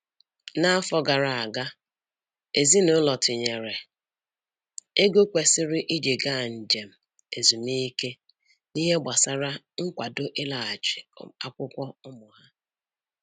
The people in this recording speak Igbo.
N'afọ gara aga, ezinụlọ tinyere ego kwesịrị iji gaa njem ezumike n'ihe gbasara nkwado ịlaghachi akwụkwọ ụmụ ha